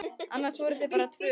Annars voru þau bara tvö.